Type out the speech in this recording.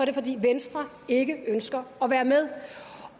det fordi venstre ikke ønsker at være med